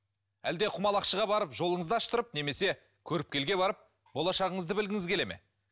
әлде құмалақшыға барып жолыңызды аштырып немесе көріпкелге барып болашағыңызды білгіңіз келе ме